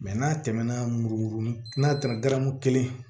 n'a tɛmɛna murukuruni n'a tɛmɛna garamu kelen